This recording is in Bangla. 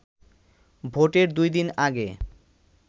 ভোটের দুই দিন আগে